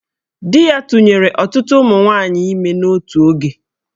Di ya tụnyere ọtụtụ ụmụ nwaanyị ime n'otu oge